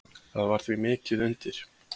Það var því mikið undir.